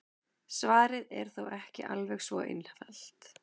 Svarið er þó ekki alveg svo einfalt.